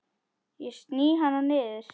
Ég sný hana niður.